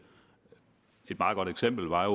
et meget godt eksempel var